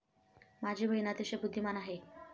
माझी बहीण अतिशय बुद्धिमान आहे.